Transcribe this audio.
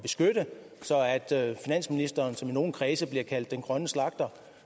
at finansministeren som i nogle kredse bliver kaldt den grønne slagter og